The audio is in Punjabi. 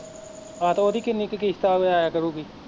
ਆਹੋ ਤੇ ਓਹਦੀ ਕਿੰਨੀ ਕੁ ਆ ਕਿਸ਼ਤ ਆਇਆ ਕਰੁਗੀ